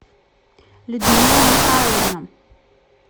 людмила михайловна